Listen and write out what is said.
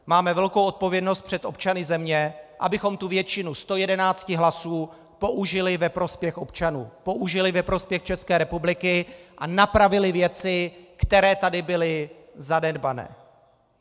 Máme velkou odpovědnost před občany země, abychom tu většinu 111 hlasů použili ve prospěch občanů, použili ve prospěch České republiky a napravili věci, které tady byly zanedbané.